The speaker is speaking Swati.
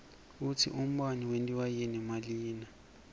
kutsi umbane wentiwa yini nalina